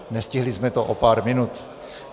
Nestihli jsme to o pár minut.